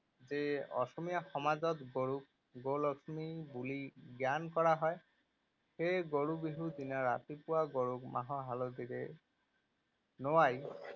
যে অসমীয়া সমাজত গৰুক গৌ লক্ষ্মী বুলি জ্ঞান কৰা হয়। সেয়ে গৰু বিহুৰ দিনা ৰাতিপুৱা গৰুক মাহ হালধিৰে নুৱাই